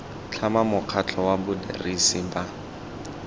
tlhama mokgatlho wa badirisi ba